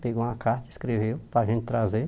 Pegou uma carta e escreveu para a gente trazer.